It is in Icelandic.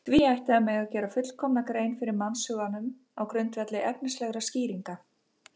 því ætti að mega gera fullkomna grein fyrir mannshuganum á grundvelli efnislegra skýringa